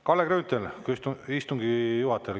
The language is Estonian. Kalle Grünthal, küsimus istungi juhatajale.